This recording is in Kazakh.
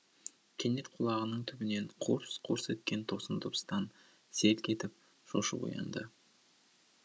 кенет құлағының түбінен қорс қорс еткен тосын дыбыстан селк етіп шошып оянды